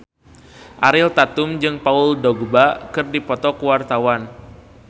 Ariel Tatum jeung Paul Dogba keur dipoto ku wartawan